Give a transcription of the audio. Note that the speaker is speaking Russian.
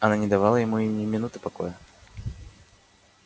она не давала ему и ни минуты покоя